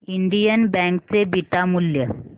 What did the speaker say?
Indian bank चे beta मूल्य